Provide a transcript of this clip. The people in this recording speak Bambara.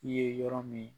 I ye yɔrɔ min